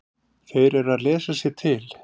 Þeir eru að lesa sér til.